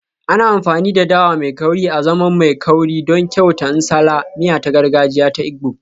Ana amfani da dawa mai kauri azaman mai kauri don kyauta nsala, miya ta gargajiya ta Igbo